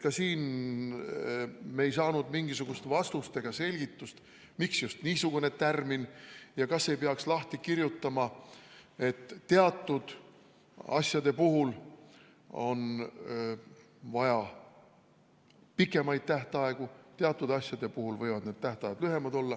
Ka sellele ei saanud me mingisugust vastust ega selgitust, miks just niisugune tärmin ja kas ei peaks lahti kirjutama, et teatud asjade puhul on vaja pikemaid tähtaegu ja teatud asjade puhul võivad need tähtajad olla lühemad.